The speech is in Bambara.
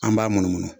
An b'a munumunu